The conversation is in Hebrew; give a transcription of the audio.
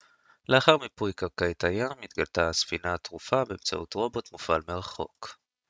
לאחר מיפוי קרקעית הים התגלתה הספינה הטרופה באמצעות רובוט מופעל מרחוק